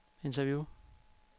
interview